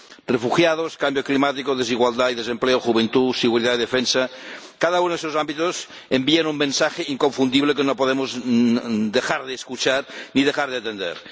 Refugiados, cambio climático, desigualdad y desempleo, juventud, seguridad y defensa cada uno de estos ámbitos envía un mensaje inconfundible que no podemos dejar de escuchar ni dejar de atender.